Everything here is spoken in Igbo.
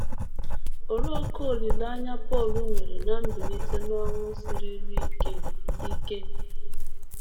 Olee ókè olileanya Pọl nwere ná mbilite n’ọnwụ siruru ike? ike?